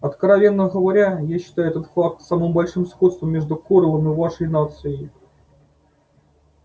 откровенно говоря я считаю этот факт самым большим сходством между корелом и вашей нацией